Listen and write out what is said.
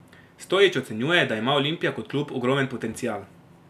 Stojić ocenjuje, da ima Olimpija kot klub ogromen potencial.